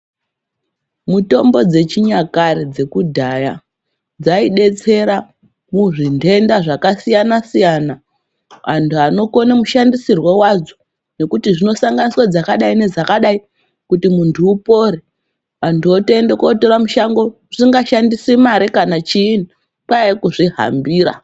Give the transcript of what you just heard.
Mitombo dzechinyakare dzekudhaya dzaidetsera muzvindenda zvakasiyana siyana antu anokona mushandisirwo wadzo ngokuti dzinosanganiswa dzakadai dzakadai kuti muntu upore antu otoenda kutora mushango usingashandisi mare kana chini kwaive kuzvihambira.